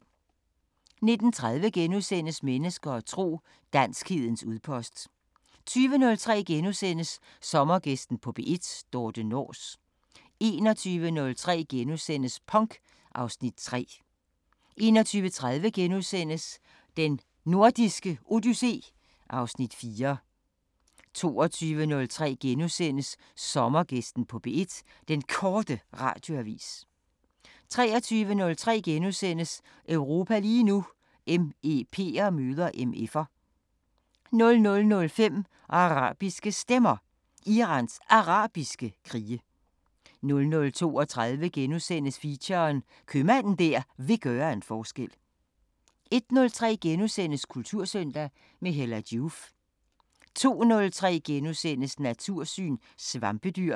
19:30: Mennesker og tro: Danskhedens udpost * 20:03: Sommergæsten på P1: Dorthe Nors * 21:03: Punk (Afs. 3)* 21:30: Den Nordiske Odyssé (Afs. 4)* 22:03: Sommergæsten på P1: Den Korte Radioavis * 23:03: Europa lige nu: MEP'er møder MF'er * 00:05: Arabiske Stemmer: Irans Arabiske krige 00:32: Feature: Købmanden der vil gøre en forskel * 01:03: Kultursøndag – med Hella Joof * 02:03: Natursyn: Svampedyr *